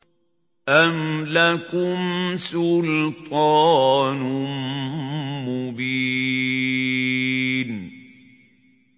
أَمْ لَكُمْ سُلْطَانٌ مُّبِينٌ